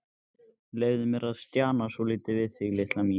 Leyfðu mér að stjana svolítið við þig, litla mín.